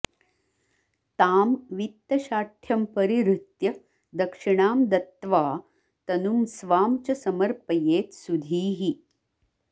तां वित्तशाठ्यं परिहृत्य दक्षिणां दत्त्वा तनुं स्वां च समर्पयेत् सुधीः